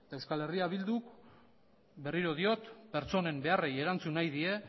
eta euskal herrira bilduk berriro diot pertsonen beharrei erantzun nahi die